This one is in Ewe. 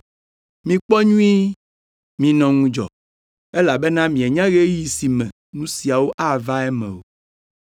Mikpɔ nyuie, minɔ ŋudzɔ, elabena mienya ɣeyiɣi si me nu siawo ava eme o.